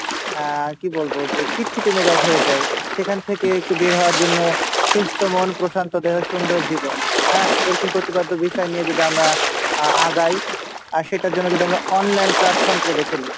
আহ কী বলবো যে খিটখিটে মেজাজ হয়ে যাই সেখান থেকে একটু বের হওয়ার জন্য সুস্থ মন প্রশান্ত দেহ সুন্দর জীবন হ্যাঁ এরকম বিষয় নিয়ে যদি আমরা আহ আগায় আর সেটার জন্য যদি আমরা online platform টিকে বেছে নিই,